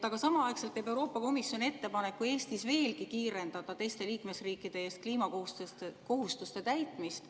Aga samaaegselt teeb Euroopa Komisjon ettepaneku Eestis veelgi kiirendada teiste liikmesriikide eest kliimakohustuste täitmist.